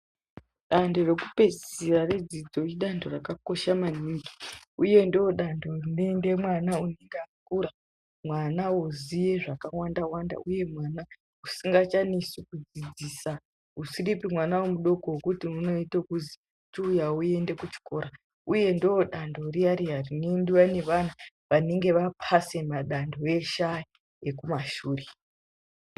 Dando rekupedzisira redzidzo idando rakakosha manhingi, uye ndo dando rinoende mwana unenge akura, mwana oziye zvakawanda wanda uye mwana usingachanesi kudzidzisa usiripi mwana mudoko wekuti unoita kuzi chiuya uende kuchikora uye ndo dando riya riya rinoendwa newanhu wanenge wapase madando eshe aya ekumashure.